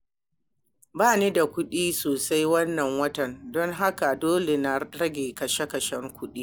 Ba ni da kuɗi sosai wannan watan, don haka dole in rage kashe-kashen kuɗi.